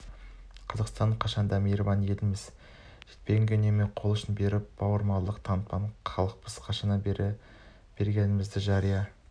қазақстан қашан да мейірбан елміз жетпегенге үнемі қолұшын беріп бауырмалдық танытатын халықпыз қашаннан біз бергенімізді жария